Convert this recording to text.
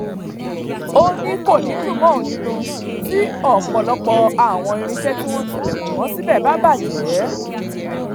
ó ní kò ní í dùn mọ́ ohun nínú tí ọ̀pọ̀lọpọ̀ àwọn irinṣẹ́ tí wọ́n tilẹ̀kùn mọ síbẹ̀ bá bàjẹ́